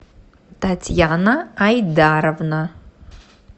татьяна айдаровна